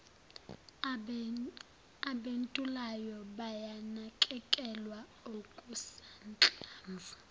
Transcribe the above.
abentulayo bayanakekelwa okusanhlamvu